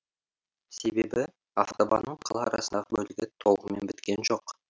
себебі автобанның қала арасындағы бөлігі толығымен біткен жоқ